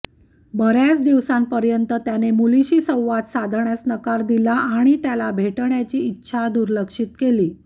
बर्याच दिवसांपर्यंत त्याने मुलीशी संवाद साधण्यास नकार दिला आणि त्याला भेटण्याची त्याची इच्छा दुर्लक्षित केली